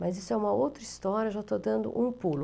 Mas isso é uma outra história, já estou dando um pulo.